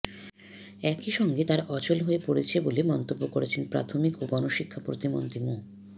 একইসঙ্গে তারা অচল হয়ে পড়ছে বলে মন্তব্য করেছেন প্রাথমিক ও গণশিক্ষা প্রতিমন্ত্রী মো